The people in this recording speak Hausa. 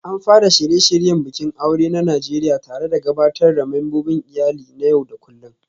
An fara shirye-shiryen bikin aure na Najeriya tare da gabatar da membobin iyali na yau da kullun